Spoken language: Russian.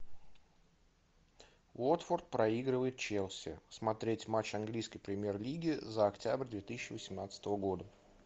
уотфорд проигрывает челси смотреть матч английской премьер лиги за октябрь две тысячи восемнадцатого года